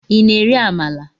i na- eri Amala?